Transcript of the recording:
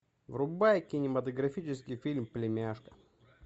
врубай кинематографический фильм племяшка